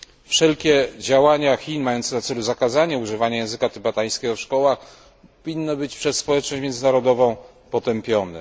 Wszelkie działania Chin mające na celu zakazanie używania języka tybetańskiego w szkołach winne być przez społeczność międzynarodową potępione.